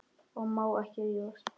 Ég má ekki rífast.